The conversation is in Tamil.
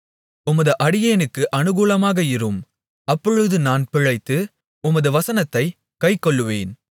உமது அடியேனுக்கு அனுகூலமாக இரும் அப்பொழுது நான் பிழைத்து உமது வசனத்தைக் கைக்கொள்ளுவேன்